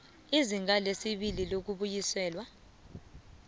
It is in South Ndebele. izinga lesibili lokubuyiselwa